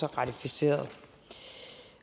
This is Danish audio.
ratificeret